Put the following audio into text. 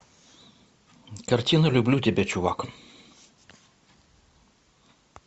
картина люблю тебя чувак